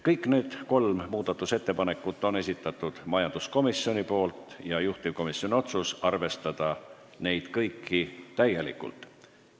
Kõik kolm muudatusettepanekut on majanduskomisjoni esitatud, juhtivkomisjoni otsus on arvestada neid kõiki täielikult.